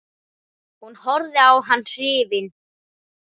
Hún horfði á hann hrifin.